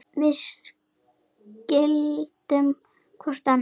Við skildum hvor annan.